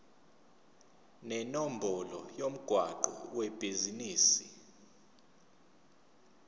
nenombolo yomgwaqo webhizinisi